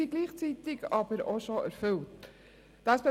Gleichzeitig sind diese aber auch bereits erfüllt.